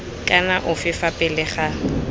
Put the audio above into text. kana ofe fa pele ga